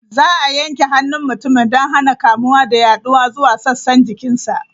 Za a yanke hannun mutumin don hana kamuwa da yaduwa zuwa sassan jikinsa.